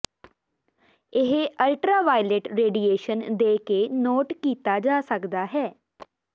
ਇਹ ultraviolet radiation ਦੇ ਕੇ ਨੋਟ ਕੀਤਾ ਜਾ ਸਕਦਾ ਹੈ